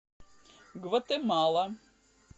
гватемала